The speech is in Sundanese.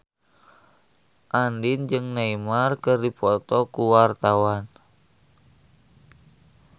Andien jeung Neymar keur dipoto ku wartawan